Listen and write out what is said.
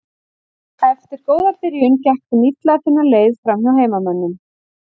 Eftir góða byrjun gekk þeim illa að finna leið framhjá heimamönnum.